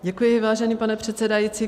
Děkuji, vážený pane předsedající.